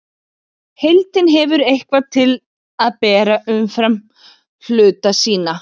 Heildin hefur eitthvað til að bera umfram hluta sína.